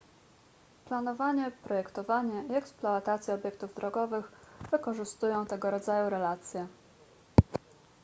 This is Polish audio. planowanie projektowanie i eksploatacja obiektów drogowych wykorzystują tego rodzaju relacje